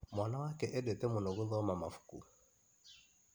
Mwana wake endete mũno gũthoma mabũku